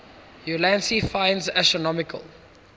ulansey finds astronomical